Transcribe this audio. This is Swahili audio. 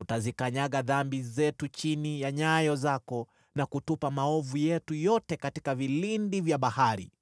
utazikanyaga dhambi zetu chini ya nyayo zako, na kutupa maovu yetu yote katika vilindi vya bahari.